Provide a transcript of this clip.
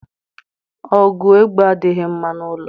Ogu egbe adighi mma n’ulo